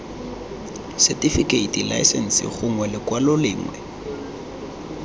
setifikeiting laesense gongwe lekwalo lengwe